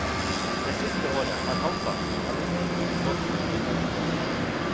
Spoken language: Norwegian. Det siste året har halvparten av arbeidstimene gått til den nye fergen.